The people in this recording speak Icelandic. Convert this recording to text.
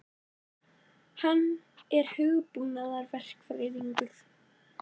Hann er hugbúnaðarverkfræðingur.